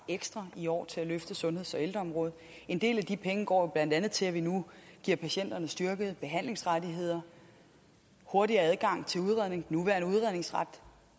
ekstra i år til at løfte sundheds og ældreområdet en del af de penge går jo blandt andet til at vi nu giver patienterne styrkede behandlingsrettigheder hurtigere adgang til udredning den nuværende udredningsret